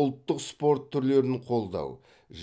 ұлттық спорт түрлерін қолдау